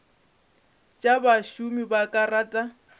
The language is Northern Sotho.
tša bašomi ba ka rata